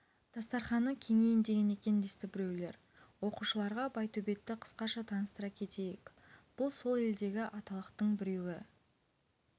дастарқаны кеңиін деген екен десті біреулер оқушыларға байтөбетті қысқаша таныстыра кетейік бұл сол елдегі аталықтың біреуі